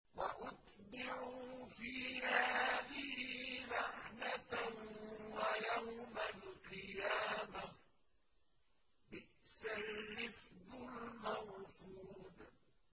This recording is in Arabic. وَأُتْبِعُوا فِي هَٰذِهِ لَعْنَةً وَيَوْمَ الْقِيَامَةِ ۚ بِئْسَ الرِّفْدُ الْمَرْفُودُ